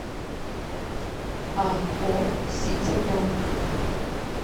ао ситибанк